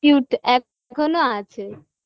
Cute এখনো আছে